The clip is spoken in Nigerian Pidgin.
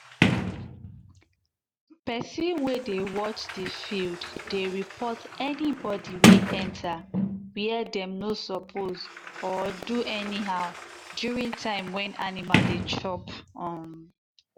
persin wey dey watch the field dey report anybody wey enter where dem no suppose or do anyhow during time when animal dey chop. um